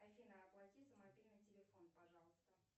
афина оплати за мобильный телефон пожалуйста